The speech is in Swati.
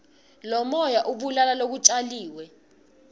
lomoya ubulala lokutjaliwe